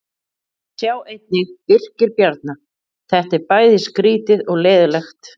Sjá einnig: Birkir Bjarna: Þetta er bæði skrýtið og leiðinlegt